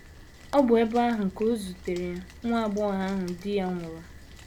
Ọ bụ ebe ahụ ka o zutere nwa agbọghọ ahụ di ya nwụrụ.